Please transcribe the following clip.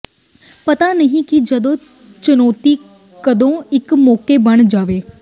ਪਤਾ ਨਹੀਂ ਕਿ ਜਦੋਂ ਚੁਣੌਤੀ ਕਦੋਂ ਇੱਕ ਮੌਕਾ ਬਣ ਜਾਵੇ